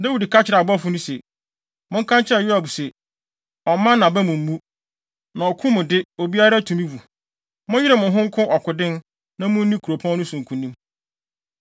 Dawid ka kyerɛɛ abɔfo no se, “Monka nkyerɛ Yoab se ɔmmma nʼaba mu mmu, na ɔko mu de obiara tumi wu. Monyere mo ho nko ɔkoden na munni kuropɔn no so nkonim.”